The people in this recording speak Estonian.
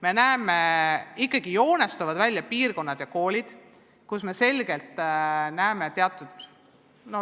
Me näeme, et joonistuvad välja piirkonnad ja koolid, kus on selgelt näha teatud probleeme.